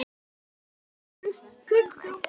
ylurinn ljúfi.